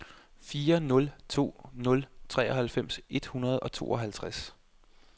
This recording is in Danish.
fire nul to nul treoghalvfems et hundrede og tooghalvtreds